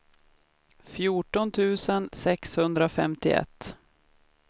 fjorton tusen sexhundrafemtioett